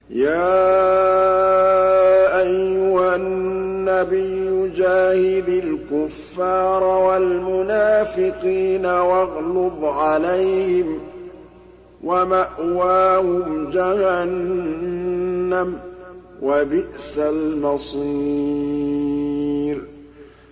يَا أَيُّهَا النَّبِيُّ جَاهِدِ الْكُفَّارَ وَالْمُنَافِقِينَ وَاغْلُظْ عَلَيْهِمْ ۚ وَمَأْوَاهُمْ جَهَنَّمُ ۖ وَبِئْسَ الْمَصِيرُ